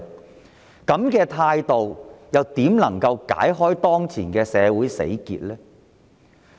試問政府這種態度，如何解開當前的社會死結呢？